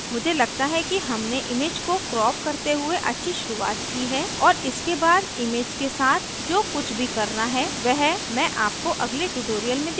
मुझे लगता है कि हमने image को क्रॉप करते हुए अच्छी शुरुआत की है और इसके बाद image के साथ जो कुछ भी करना है वह मैं आपको अगले tutorial में दिखाउंगी